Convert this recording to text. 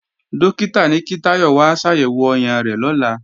Dókítà ní kí Táyọ̀ wá ṣàyẹ̀wò ọyàn rẹ̀ lọ́la